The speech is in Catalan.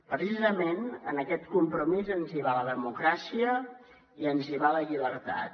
precisament en aquest compromís ens hi va la democràcia i ens hi va la llibertat